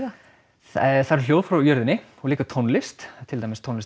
það eru hljóð frá jörðinni og líka tónlist til dæmis tónlist